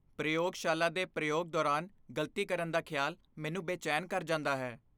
ਪ੍ਰਯੋਗਸ਼ਾਲਾ ਦੇ ਪ੍ਰਯੋਗ ਦੌਰਾਨ ਗ਼ਲਤੀ ਕਰਨ ਦਾ ਖਿਆਲ ਮੈਨੂੰ ਬੇਚੈਨ ਕਰ ਜਾਂਦਾ ਹੈ।